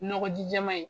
Nɔgɔ ji jɛman ye